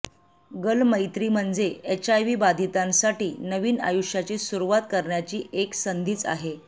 गल मैत्री म्हणजे एचआयव्ही बाधितांसाठी नवीन आयुष्याची सुरुवात करण्याची एक संधीच आहे